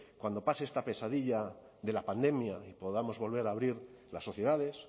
cuando pase esta pesadilla de la pandemia y podamos volver a abrir las sociedades